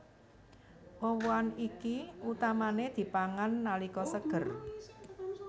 Woh wohan iki utamané dipangan nalika seger